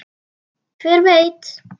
Hver veit?